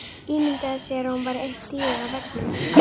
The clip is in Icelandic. Ímyndaði sér að hún væri eitt dýrið á veggnum.